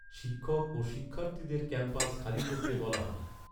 শিক্ষক ও শিক্ষার্থীদের ক্যাম্পাস খালি করতে বলা হয়।